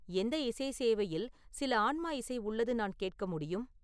எந்த இசை சேவையில் சில ஆன்மா இசை உள்ளது நான் கேட்க முடியும்